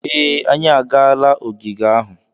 Ee, anyị agaala ogige ahu.